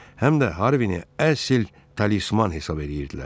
Həm də Harvin əsl talisman hesab eləyirdilər.